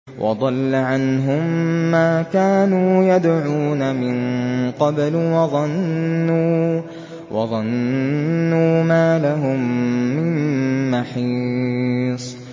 وَضَلَّ عَنْهُم مَّا كَانُوا يَدْعُونَ مِن قَبْلُ ۖ وَظَنُّوا مَا لَهُم مِّن مَّحِيصٍ